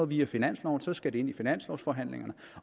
via finansloven så skal det ind i finanslovsforhandlingerne